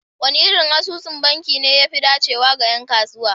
Wane irin asusun banki ne ya fi dacewa ga 'yan kasuwa?